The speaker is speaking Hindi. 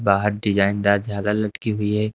बाहर डिजाइन दार झालर लटकी हुई है।